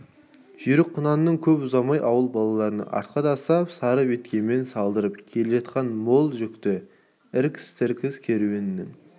жүйрік құнаны көп ұзамай ауыл балаларын артқа тастап сары беткеймен салдыртып келе жатқан мол жүкті іркіс-тіркіс керуеннің